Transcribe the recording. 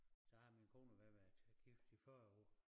Så har min kone og jeg været gift i 40 år